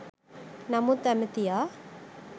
නමුත් ඇමතියා